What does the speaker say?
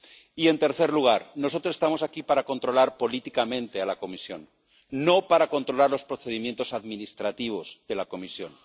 Y, en tercer lugar nosotros estamos aquí para controlar políticamente a la Comisión, no para controlar los procedimientos administrativos de la Comisión.